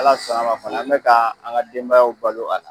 Ala sɔn na a ma fana an bɛ ka an ka denbayaw balo a la.